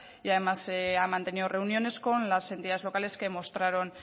y además ha mantenido reuniones con las entidades locales que mostraron